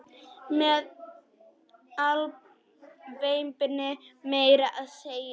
Með alvæpni meira að segja!